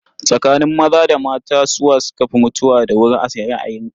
Tsakanin maza da mata, su wa suka fi mutuwa da wuri a ra'ayinka?